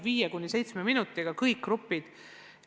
5–7 minutiga täituvad kõik grupid.